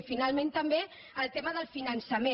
i finalment també el tema del finançament